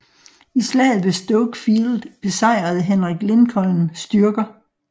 I slaget ved Stoke Field besejrede Henrik Lincolns styrker